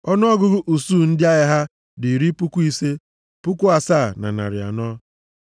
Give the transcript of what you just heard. Ọnụọgụgụ usuu ndị agha ha dị iri puku ise, puku asaa na narị anọ (57,400).